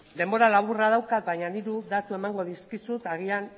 denbora laburra daukat baina hiru datu emango dizkizut agian